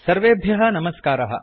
सर्वेभ्यः नमस्कारः